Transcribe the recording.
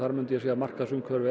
myndi ég segja að markaðsumhverfið